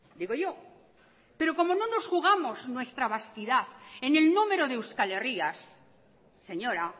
digo yo pero como no nos jugamos nuestra vasquidad en el número de euskalherrias señora